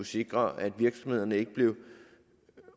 sikre at virksomhederne ikke bliver